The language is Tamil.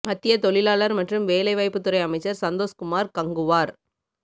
மத்திய தொழிலாளா் மற்றும் வேலைவாய்ப்புத் துறை அமைச்சா் சந்தோஷ் குமாா் கங்குவாா்